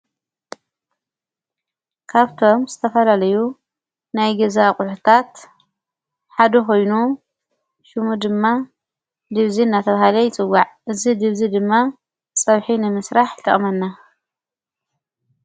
ካብቶም ዝተፈላለዩ ናይ ገዛ ኣቝሕታት ሓዱ ኮይኑ ሹሙ ድማ ድብዜ ናተብሃለይ ይጽዋዕ። እዝ ድብዝ ድማ ጸብሒንምሥራሕ ይጠቅመና።